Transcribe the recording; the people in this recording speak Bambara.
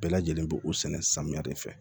Bɛɛ lajɛlen bɛ o sɛnɛ samiya de fɛ